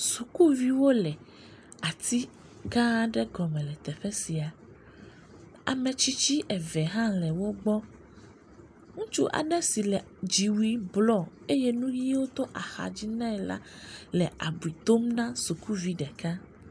Sukuviwo le ati gã aɖe gɔme le teƒe sia. Ame tsitsi eve hã le wo gbɔ. Ŋutsu aɖe si le dziwui blɔ eye nuʋiwo to axa dzi nɛ la le abiu dom na sukuvi ɖeka.